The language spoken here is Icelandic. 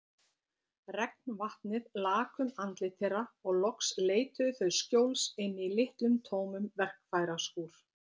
Regnvatnið lak um andlit þeirra og loks leituðu þau skjóls inni í litlum tómum verkfæraskúr.